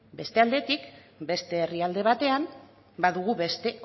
beste aldetik beste herrialde batean badugu beste